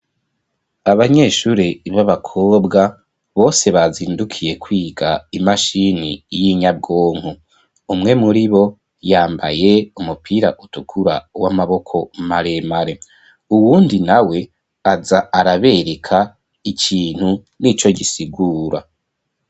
Abanyeshure b'abakobwa bose bazindukiye kwiga imashini y'inyabwonko, umwe muri bo yambaye umupira utukura w'amaboko maremare, uwundi nawe aza arabereka ikintu n'ico gisigura.